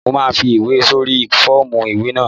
Mo máa fi ìwé sórí sẹ́ẹ̀fù ìwé náà